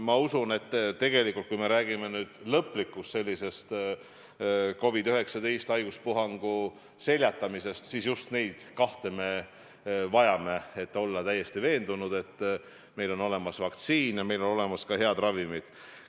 Ma usun, et kui me räägime lõplikust COVID-19 haiguspuhangu seljatamisest, siis just neid kahte me vajame: tuleb olla täiesti veendunud, et meil on olemas vaktsiin ja meil on olemas ka head ravimid.